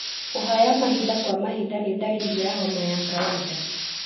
Kũhaya mahinda kwa mahinda nĩ ndariri ya homa ya kawainda.